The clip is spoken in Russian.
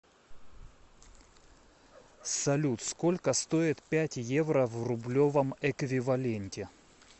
салют сколько стоит пять евро в рублевом эквиваленте